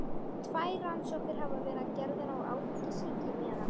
Tvær rannsóknir hafa verið gerðar á áfengissýki meðal